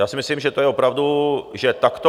Já si myslím, že to je opravdu... že takto...